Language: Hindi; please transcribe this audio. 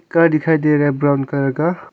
का दिखाई दे रहा है ब्राउन कलर का।